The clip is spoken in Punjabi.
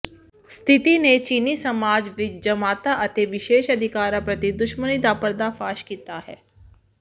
ਸਥਿਤੀ ਨੇ ਚੀਨੀ ਸਮਾਜ ਵਿਚ ਜਮਾਤਾਂ ਅਤੇ ਵਿਸ਼ੇਸ਼ ਅਧਿਕਾਰਾਂ ਪ੍ਰਤੀ ਦੁਸ਼ਮਣੀ ਦਾ ਪਰਦਾਫਾਸ਼ ਕੀਤਾ ਹੈ